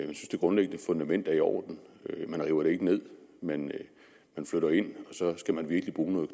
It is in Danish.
det grundliggende fundament er i orden man river det ikke ned men man flytter ind og så skal man virkelig bruge noget